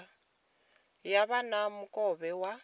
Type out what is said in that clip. ya vha na mukovhe wa